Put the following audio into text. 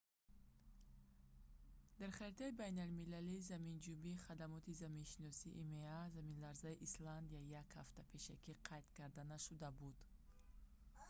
дар харитаи байналмилалии заминҷунбии хадамоти заминшиносии има заминларзаи исландия як ҳафта пешакӣ қайд карда нашуда буд